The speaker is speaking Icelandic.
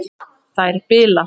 Þær bila.